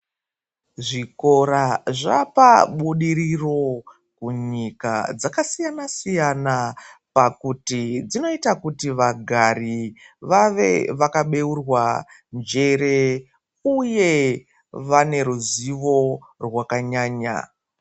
Zvikora zvaapa budiriro kunyika dzakasiyana siyana pakuti dzinoita kuti vagari vave vakabeurwa njere uye vane ruzivo rwakanyanya .